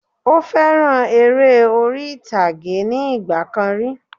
Ó fẹ́ràn eré orí ìtàgé ní ìgbà kan rí